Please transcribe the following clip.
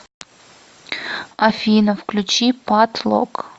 афина включи пат лок